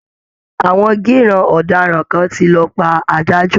Àwọn gíìràn ọ̀daràn kan ti lọ pa adájọ́